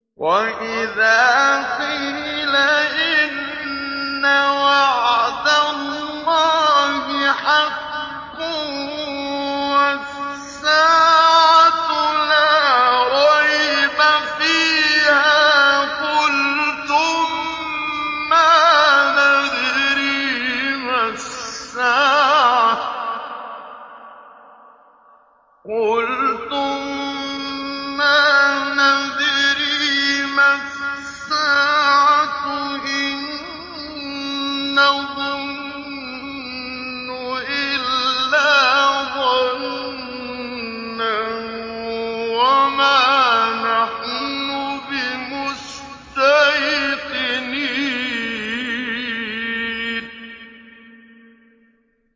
وَإِذَا قِيلَ إِنَّ وَعْدَ اللَّهِ حَقٌّ وَالسَّاعَةُ لَا رَيْبَ فِيهَا قُلْتُم مَّا نَدْرِي مَا السَّاعَةُ إِن نَّظُنُّ إِلَّا ظَنًّا وَمَا نَحْنُ بِمُسْتَيْقِنِينَ